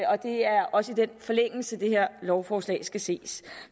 og det er også i forlængelse af det det her lovforslag skal ses